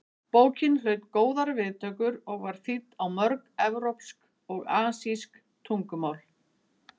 Bókin hlaut góðar viðtökur og var þýdd á mörg evrópsk og asísk tungumál.